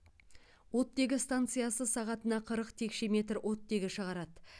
оттегі станциясы сағатына қырық текше метр оттегі шығарады